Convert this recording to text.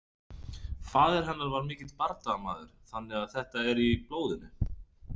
Faðir hennar var mikill bardagamaður þannig að þetta er í blóðinu.